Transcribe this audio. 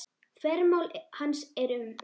Þvermál hans er um